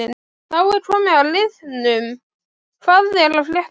Þá er komið að liðnum Hvað er að frétta?